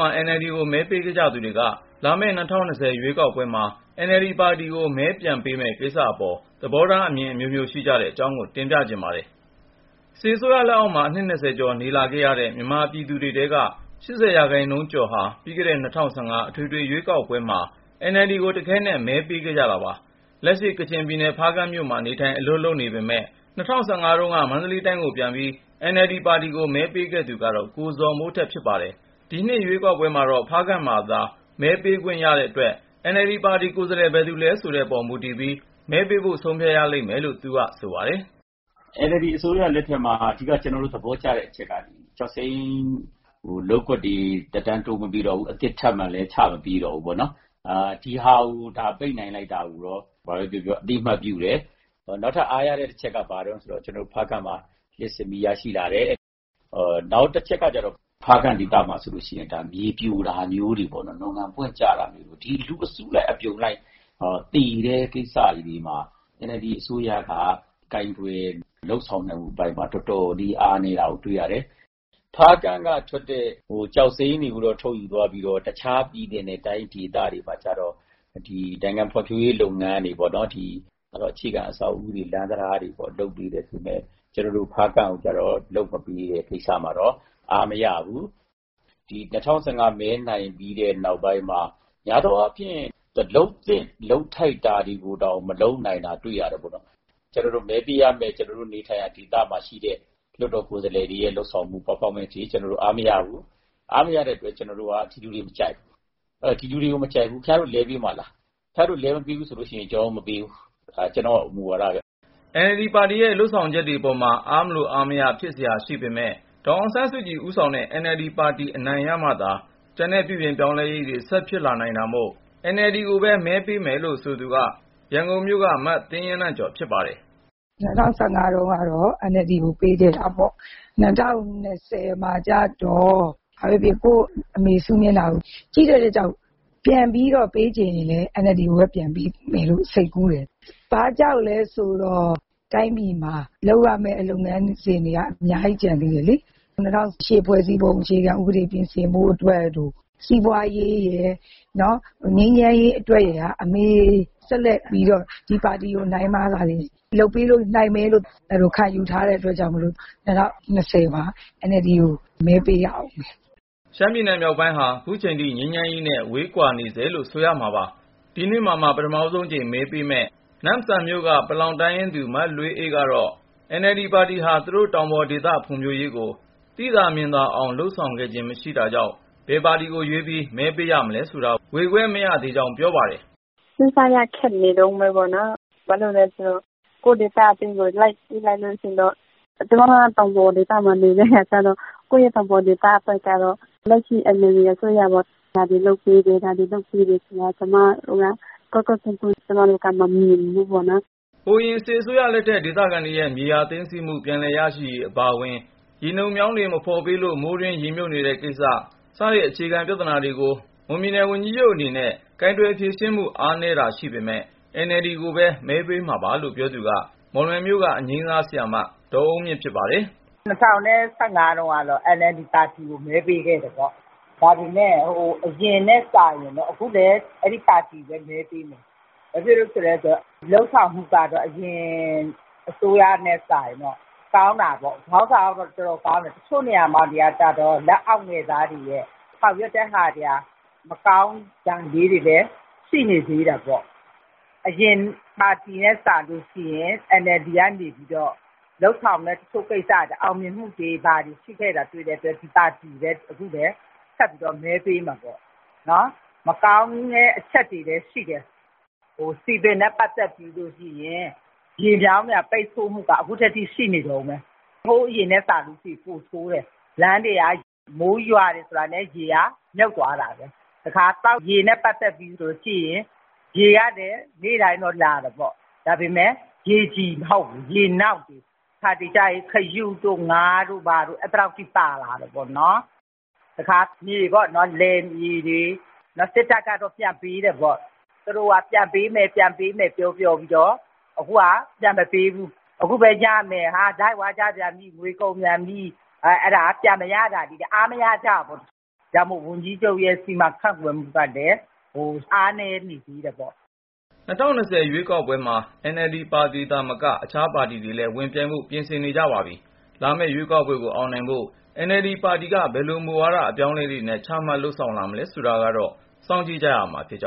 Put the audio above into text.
မှာ NLD ကိုမဲပေးခဲ့ကြသူတွေ လာမယ့် ၂၀၂၀ ရွေးကောက်ပွဲမှာ NLD ပါတီကို မဲပြန်ပေးမပေး ကိစ္စအပေါ် သဘောထားအမြင် အမျိုးမျိုး ရှိကြတဲ့ အကြောင်းကိုကိုဉာဏ်ဝင်းအောင် တင်ပြပေးမှာပါ။ စစ်အစိုးရလက်အောက်မှာ အနှစ်(၂၀)ကျော်နေလာခဲ့ရတဲ့ မြန်မာ ပြည်သူတွေထဲက ၈၀% ကျော်ဟာ ပြီးခဲ့တဲ့ ၂၀၁၅ အထွေထွေရွေးကောက်ပွဲမှာ NLD ကို တခဲနက် မဲပေးခဲ့ကြတာပါ။ လက်ရှိ ကချင်ပြည်နယ် ဖားကန့်မြို့မှာ နေထိုင်အလုပ်လုပ်နေပေမဲ့ ၂၀၁၅ ရွေးကောက်ပွဲတုန်းက မန္တလေးတိုင်းကိုပြန်ပြီး NLD ပါတီကို မဲပေးခဲ့သူကတော့ ကိုဇော်မိုးထက်ဖြစ်ပါတယ်။ ဒီနှစ် ရွေးကောက်ပွဲမှာတော့ ဖားကန့်မှာ မဲပေးခွင့်ရတဲ့အတွက် NLD ပါတီ ကိုယ်စားလှယ် ဘယ်သူလဲ ဆိုတဲ့ပေါ်မူတည်ပြီး မဲပေးဖို့ ဆုံးဖြတ်ရလိမ့်မယ်လို့ ဆိုပါတယ်။ " NLD အစိုးရလက်ထက်မှာ အဓိက ကျနော်တို့ သဘောကျတဲ့အချက်က - ကျောက်စိမ်း လုပ်ကွက်တွေ သက်တမ်း တိုးမပေးတော့ဘူး ၊ အသစ်လည်း ထပ်ချမပေးတော့ဘူးပေါ့နော် ။ ဒီလို ပိတ်နိုင်လိုက်တာကို အသိမှတ်ပြုတယ် ။ နောက်ထပ် အားရတဲ့အချက်က ဖားကန့်မှာ လျှပ်စစ်မီးရရှိလာတယ်။ ဒါပေမဲ့ ဖားကန့်မှာ မြေပြိုတာမျိုးတွေ နွံကန် ပွင့်ကျတာမျိုးတွေ ၊ လူအစုလိုက်အပြုံလိုက် သေတဲ့ကိစ္စတွေမှာ NLD အစိုးရက ကိုင်တွယ် လုပ်ဆောင်နိုင်မှုအပိုင်းမှာ တော်တော်လေး အားနည်းတာကို တွေ့ရတယ်။ ဖားကန့်ကထွက်တဲ့ ကျောက်စိမ်းတွေကို ထုတ်ယူသွားပြီး တခြား ပြည်နယ်နဲ့တိုင်း ဒေသတွေမှာကျတော့ ဖွံ့ဖြိုးရေး လုပ်ငန်းတွေပေါ့နော် ၊ အခြေခံ အဆောက်အဦးတွေ လမ်းတံတားတွေ လုပ်ပေးတယ် ၊ ကျနော်တို့ ဖားကန့်ကိုတော့ လုပ်မပေးတဲ့ကိစ္စမှာတော့ အားမရဘူး။ ၂၀၁၅ မဲနိုင်ပြီးတဲ့ နောက်ပိုင်းမှာ များသောအားဖြင့် NLD က လုပ်သင့်လုပ်ထိုက် တာတွေကိုတောင် မလုပ်နိုင်တာ တွေ့ရတယ်။ ကျနော်တို့မဲပေးရမယ့် နေထိုင်ရာ ဒေသမှာရှိတဲ့ လွှတ်တော်ကိုယ်စားလှယ်တွေရဲ့ လုပ်ဆောင်မှုအပိုင်းကို အားမရဘူး။ အားမရတဲ့အတွက် ကျနော်တို့က ဒီလူတွေကို မကြိုက်ဘူး။ ဒီလူတွေကို မကြိုက်ဘူး ဆိုရင် ခင်ဗျားတို့ ပါတီက လဲပေးမှာလား ၊ လူလဲမပေးဘူးဆိုရင် ကျနော်တို့ မဲမပေးဘူး ဒါက ကျနော့်မူဝါဒပဲ။" NLD ပါတီရဲ့ လုပ်ဆောင်ချက်တွေမှာ အားမလိုအားမရ ဖြစ်စရာတွေရှိနေပေမဲ့ ဒေါ်အောင်ဆန်းစုကြည် ဦးဆောင်တဲ့ NLD ပါတီ အနိုင်ရမှသာ ကျန်တဲ့ပြုပြင် ပြောင်းလဲရေးတွေ ဆက်ဖြစ်လာနိုင်တာမို့ NLD ကို မဲပေးမယ်လို့ ဆိုသူက ရန်ကုန်မြို့က မသင်းရနံ ့ကျော် ဖြစ်ပါတယ်။ " ၂၀၁၅ တုန်းက NLD ကို မဲပေးခဲ့တာပေါ့။ ၂၀၂၀ မှာကျတော့ ဘာပဲဖြစ်ဖြစ် ကိုယ့်အမေစု မျက်နှာကို ကြည့်တဲ့အတွက်ကြောင့် ပြန်ပြီးပေးချင်ရင်လည်း NLD ကိုပဲ ပေးမယ်လို့ စိတ်ကူးတယ်။ ဘာကြောင့်လဲဆိုတော့ တိုင်းပြည်မှာ လုပ်ရမယ့် လုပ်ငန်းစဉ်တွေက အများကြီး ကျန်သေးတယ်လေ။ ၂၀၀၈ ဖွဲ့စည်းပုံ အခြေခံဥပဒေ ပြင်ဆင်ဖို့အတွက်တို့ စီးပွားရေးရယ် ငြိမ်းချမ်းရေး အတွက်ရယ်က အမေစု ဆက်လက်ပြီး ဒီပါတီကို နိုင်မှသာလျှင် လုပ်ပေးနိုင်မယ်လို့ အဲလိုခံယူထားတဲ့ အတွက်ကြောင့်မို့လို့ ၂၀၂၀ မှာ NLD ကို မဲပေးရဦးမယ်။ " ရှမ်းပြည်နယ် မြောက်ပိုင်းဟာ ခုချိန်ထိ ငြိမ်းချမ်းရေးနဲ့ ဝေးကွာနေဆဲလို့ ဆိုရမှာပါ။ ဒီနှစ်မှ ပထမဆုံးအကြိမ် မဲပေးမယ့် နမ့်ဆန် မြို့က ပလောင်တိုင်းရင်းသူ မလွေးအေးကတော့ NLD ပါတီဟာ သူတို့တောင်ပေါ် ဒေသဖွံ့ဖြိုးရေးကို သိသာမြင်သာအောင် လုပ်ဆောင်ခဲ့ခြင်း မရှိသေးတာကြောင့် ဘယ်ပါတီကို ရွေးပြီး မဲပေးရမလဲဆိုတာ ဝေခွဲမရနိုင်သေးဘူးလို့ ပြောပါတယ်။ " စဉ်းစားရခက်နေတုန်းပဲပေါ့နော်၊ ဘာလို့လဲ ဆိုတော့ ကိုယ့်ဒေသအတွင်းကို လိုက်ကြည့်လိုက်လို့ ရှိရင်တော့ ကျမက တောင်ပေါ်ဒေသမှာ နေတဲ့အခါကျတော့ ကိုယ့်ရဲ့တောင်ပေါ်ဒေသအတွက်ကတော့ လက်ရှိ NLD အစိုးရက ဒါတွေလုပ်ပေးတယ်.. ဒါတွေလုပ်ပေးတယ်ဆိုတာမျိုး ကျမတို့ ကွက်ကွက်ကွင်းကွင်း မမြင်ရဘူးပေါ့နော်။ " ဟိုအရင် စစ်အစိုးရလက်ထက် ဒေသခံတွေရဲ့ မြေယာသိမ်းဆည်းခံရမှု ပြန်လည်ရရှိရေးအပါဝင် ရေနုတ်မြောင်းတွေ မဖေါ်လို့ မိုးတွင်း ရေမြုပ်နေတဲ့ကိစ္စ စတဲ့ အခြေခံပြဿနာတွေကို မွန်ပြည်နယ် ဝန်ကြီးချုပ် အနေနဲ့ ကိုင်တွယ် ဖြေရှင်းမှု အားနည်းတာတွေ ရှိပေမဲ့ NLD ကိုပဲ မဲပေးမှာပါလို့ ပြောသူက မော်လမြိုင်မြို့က အငြိမ်းစားဆရာမ ဒေါ်အုန်းမြင့် ဖြစ်ပါတယ်။ " ၂၀၁၅ တုန်းက NLD ပါတီကို မဲပေးခဲ့တယ်ပေါ့။ အခုလည်း အဲဒီပါတီကိုပဲ မဲပေးမှာပါ။ ဘာဖြစ်လို့လဲဆို လုပ်ဆောင်မှုက ဟိုအရင် (ဦးသိန်းစိန်)အစိုးရနဲ့ စာရင်တော့ ကောင်းတာပေါ့။ ခေါင်းဆောင်ကတော့ တော်တော်ကောင်းတယ် ၊ တချို့နေရာတွေမှာကျတော့ လက်အောက်ငယ်သားတွေရဲ့ ဆောင်ရွက်ချက်တွေက မကောင်းတာလေးတွေလည်း ရှိနေသေးတာပေါ့။ အရင်ပါတီ ထက်စာရင် NLD ကနေပြီးတော့ လုပ်ဆောင်တဲ့ တချို့ကိစ္စတွေက အောင်မြင်မှု ရှိတာတွေ့ရတဲ့အတွက် ဒီပါတီကိုပဲ ဆက်ပြီး မဲပေးမှာပေါ့။ NLD အုပ်ချုပ်မှုမှာ မကောင်းတဲ့အချက်တွေလည်း ရှိတယ် စည်ပင်နဲ့ပတ်သက်ရင် ရေမြောင်းပိတ်ဆို့မှုက အခုထက်ထိ ရှိနေတုန်းပဲ၊ ဟိုးအရင်ထက်စာရင် ပိုဆိုးတယ် လမ်းတွေက မိုးရွာပြီဆိုတာနဲ့ ရေမြုပ်သွားတာပဲ။ တခါ သောက်ရေနဲ့ပတ်သက်ရင် ရေကတော့ နေ့တိုင်းတော့လာပါရဲ့ ဒါပေမဲ့ ရေကြည်မဟုတ်ဘူး ရေနောက်ဖြစ်နေတယ်။ တခါတလေကျရင် ခရုတို့ ငါးတို့ဘာတို့ အဲသည်လောက်အထိ ပါလာတာပေါ့နော်။ တခါ သိမ်းထားတဲ့ လယ်မြေတွေ စစ်တပ်ကတော့ ပြန်ပေးတာပေါ့ သူတို့က ပြန်ပေးမယ် ပြန်ပေးမယ် ပြောပြောပြီးတော့ အခုက ပြန်မပေးဘူး ။ အခုပဲ ရမယ်ဆိုပြီး နေပြည်တော်ကို လိုက်သွားကြပြန်ပြီ ငွေကုန်ပြန်ပြီ ၊ အဲလိုနဲ့ ပြန်မရတာတွေကို အားမရကြဘူးပေါ့။ ဒါကြောင့်မို့ ဝန်ကြီးချုပ်ရဲ့ စီမံခန့်ခွဲမှုကလည်း အားနည်းနေသေးတယ်ပေါ့။ " ၂၀၂၀ ရွေးကောက်ပွဲမှာ NLD ပါတီသာမက အခြားပါတီတွေလည်း ဝင်ပြိုင်ဖို့ ပြင်ဆင်နေကြပါတယ်။ လာမယ့်ရွေးကောက်ပွဲကို အောင်နိုင်ဖို့ NLD ပါတီက ဘယ်လို မူဝါဒ အပြောင်းအလဲတွေနဲ့ ချမှတ်လုပ်ဆောင်လာမယ်ဆိုတာ စောင့်ကြည့်ရမှာ ဖြစ်ကြ